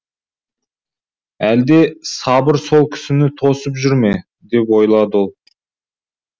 әлде сабыр сол кісіні тосып жүр ме деп ойлады ол